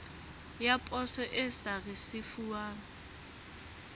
ya poso e sa risefuwang